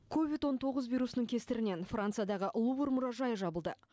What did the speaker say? ковид он тоғыз вирусының кесірінен франциядағы лувр мұражайы жабылды